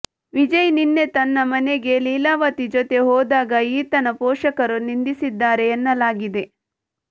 ವಿಜಯ್ ನಿನ್ನೆ ತನ್ನ ಮನೆಗೆ ಲೀಲಾವತಿ ಜೊತೆ ಹೋದಾಗ ಈತನ ಪೋಷಕರು ನಿಂದಿಸಿದ್ದಾರೆ ಎನ್ನಲಾಗಿದೆ